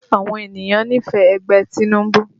Àwọn ènìyàn nífẹ̀ẹ́ ẹgbẹ́ Tinubu